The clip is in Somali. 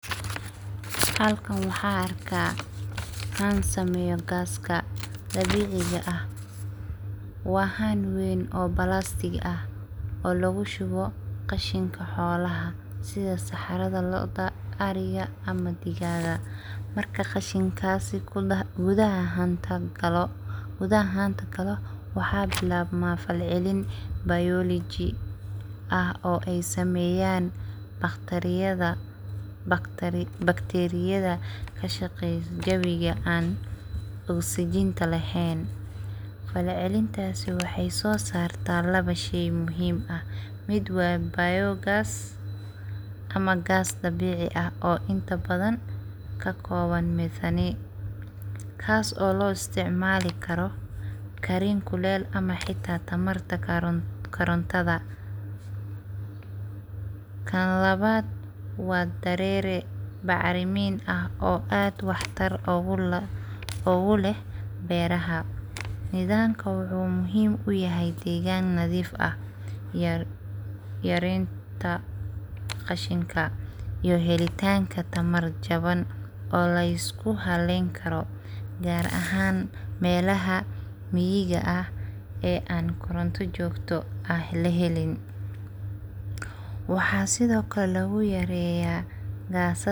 Halkan waxaa arkaa haan sameyo gaaska dabiciga ah waa haan weyn oo plastic ah oo lagu shubo qashinka xolaha sida saxarada lo, oda, ariga ama digaga marka qashinkasi gudaha haanta galo waxaa bilabmaa falcelin biology ah oo ey sameyaan bacteriyada ka shaqeyo jawiga aan oxygen laheyn falcelintasi waxey so sartaa labo shey muhiim ah mid waa biogas ama gas dabici ah inta badan kas oo lo isticmali karo karin kuley ama xitaa tamarta korontada kan labaad waa darere bac Rimin ah oo aad wax tar ogu leh beraha jidanka waxuu muhim ku yahay degaan nadiif ah yarenta qashinka iyo helitanka tamar Jaban oo lisugu haleyn karo gar ahan melaha miyiga ah ee anku koranto jogto aan lahelin waxaa sido kale logu reyaa.